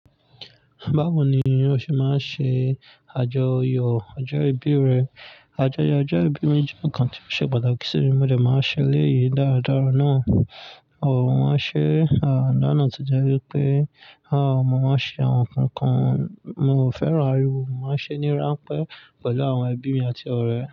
Báwo ni ó ṣe máa ṣe àjọyọ̀ ọjọ́ ìbí rẹ? Àjọyọ̀ ọjọ́ ìbí mi jẹ́ nǹkan tí ó ṣe pàtàkì sí mi, mo dẹ máa n ṣe eleyìí dáradára náà. Ohun a ṣe àná na to jẹ́ wípé, a, mo máa ṣe àwọn nǹkan mo o fẹ́ràn ariwo, mo máa n ṣe ní ránpẹ́ pẹ̀lú àwọn ẹbí mi àti ọ̀rẹ́.